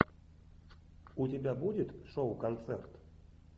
у тебя будет шоу концерт